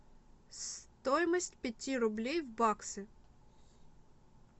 стоимость пяти рублей в баксы